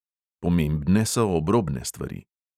Pomembne so obrobne stvari.